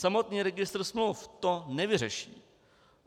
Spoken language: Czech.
Samotný registr smluv to nevyřeší.